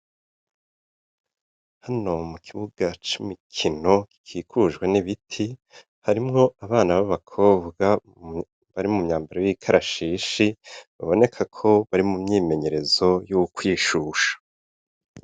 Hano mukibuga c' imikino gikikujwe n' ibiti harimwo abana b' abakobwa bari mu myambaro y' ikarashishi biboneka ko bari mumyimenyerezo yo kwishusha.